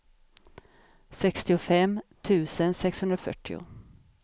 sextiofem tusen sexhundrafyrtio